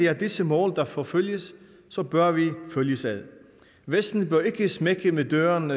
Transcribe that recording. er disse mål der forfølges så bør vi følges ad vesten bør ikke smække med døren